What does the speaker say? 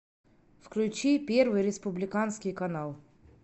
включи первый республиканский канал